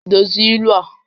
Dozie ilu a!